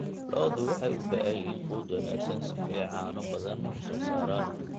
Lo'du waxay u baahan yihiin quud wanaagsan si ay caano badan u soo saaraan.